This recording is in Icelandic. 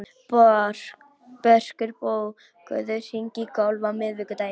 Börkur, bókaðu hring í golf á miðvikudaginn.